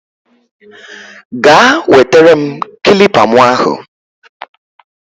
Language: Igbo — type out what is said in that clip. Gaa wetere m kilipa mu ahu